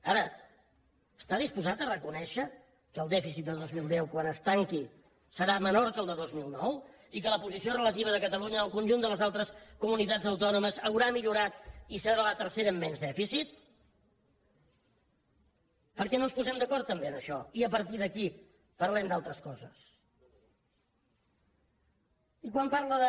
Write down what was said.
ara està disposat a reconèixer que el dèficit de dos mil deu quan es tanqui serà menor que el de dos mil nou i que la posició relativa de catalunya en el conjunt de les altres comunitats autònomes haurà millorat i serà la tercera amb menys dèficit per què no ens posem d’acord també en això i a partir d’aquí parlem d’altres coses i quan parla de